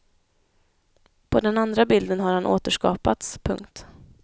På den andra bilden har han återskapats. punkt